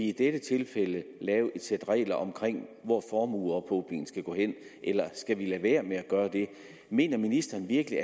i dette tilfælde lave et sæt regler om hvor formueophobningen skal gå hen eller skal man lade være med at gøre det mener ministeren virkelig